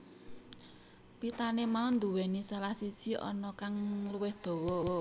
Pitane mau duweni salah siji ana kang luwih dawa